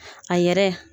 A yɛrɛ